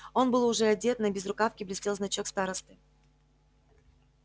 он был уже одет на безрукавке блестел значок старосты